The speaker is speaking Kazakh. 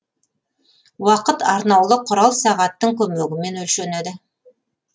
уақыт арнаулы кұрал сағаттың көмегімен өлшенеді